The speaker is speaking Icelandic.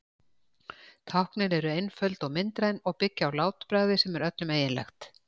táknin eru einföld og myndræn og byggja á látbragði sem er öllum eiginlegt